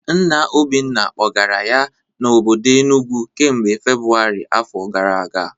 Nna Obinna kpọgara ya n'obodo Enugwu kamgbe Febụwarị afọ gara aga